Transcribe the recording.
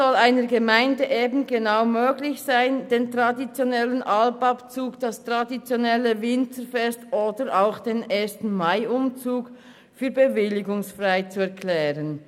Für eine Gemeinde soll es möglich sein, zum Beispiel den traditionellen Alpabzug, das traditionelle Winzerfest oder den 1.-Mai-Umzug für bewilligungsfrei zu erklären.